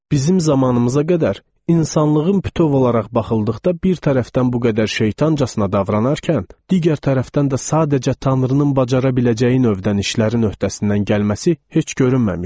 Bizim zamanımıza qədər insanlığın bütöv olaraq baxıldıqda bir tərəfdən bu qədər şeytancasına davranarkən, digər tərəfdən də sadəcə tanrının bacara biləcəyi növdən işlərin öhdəsindən gəlməsi heç görünməmişdi.